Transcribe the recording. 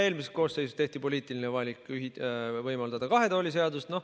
Eelmises koosseisus tehti poliitiline valik võimaldada kahe tooli seadust.